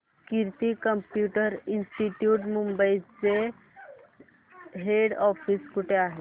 कीर्ती computer institute Mumbai चे head office कुठे आहे